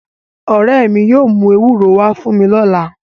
Ore mi yóò mu ewuro wa fun mi lọla